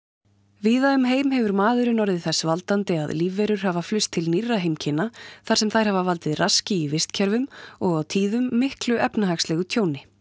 víða um heim hefur maðurinn orðið þess valdandi að lífverur hafa flust til nýrra heimkynna þar sem þær hafa valdið raski í vistkerfum og á tíðum miklu efnahagslegu tjóni